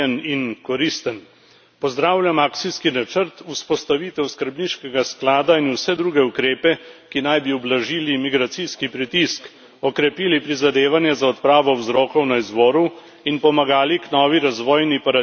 Pozdravljam akcijski načrt, vzpostavitev skrbniškega sklada in vse druge ukrepe, ki naj bi ublažili migracijski pritisk, okrepili prizadevanja za odpravo vzrokov na izvoru in pomagali k novi razvojni paradigmi afriških držav.